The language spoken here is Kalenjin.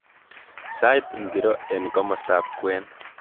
Sait ngiro eng komostab kwen